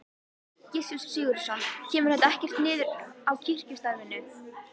Gissur Sigurðsson: Kemur þetta ekkert niður á kirkjustarfinu?